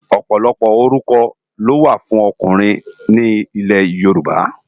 Òpòlòpò órúkò ló wá fùn òkúnrin ni Ilè Yoruba